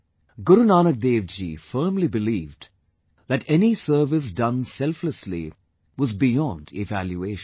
Guru Nank Dev ji firmly believed that any service done selflessly was beyond evaluation